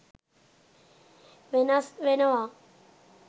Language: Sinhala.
වෙනස් වෙනවා.